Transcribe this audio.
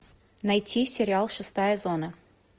найти сериал шестая зона